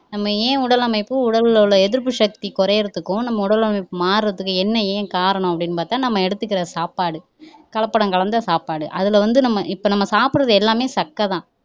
நம்ம ஏன் உடல் அமைப்பு உடல்ல உள்ள எதிர்ப்பு சக்தி குறையறதுக்கும் உடல் அமைப்பு மாறுறதுக்கும் என்ன ஏன் காரணம் அப்படின்னு பாத்தா நம்ம எடுத்துக்கிற சாப்பாடு கலப்படம் கலந்த சாப்பாடு அதுல வந்து நம்ம இப்ப சாப்பிடுறது எல்லாமே சக்கை தான்